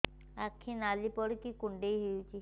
ଆଖି ନାଲି ପଡିକି କୁଣ୍ଡେଇ ହଉଛି